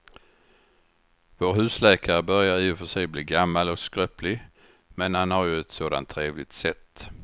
Vår husläkare börjar i och för sig bli gammal och skröplig, men han har ju ett sådant trevligt sätt!